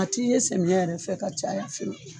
A ti ye sɛmiya yɛrɛ fɛ ka caya fɛ